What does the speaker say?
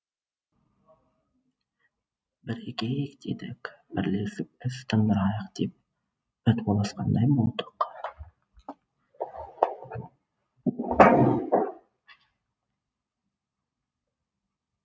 бірігейік дедік бірлесіп іс тындырайық деп пәтуаласқандай болдық